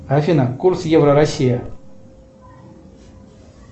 афина курс евро россия